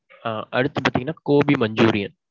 ஆ. அடுத்து பாத்தீங்கன்னா gobi manchurian.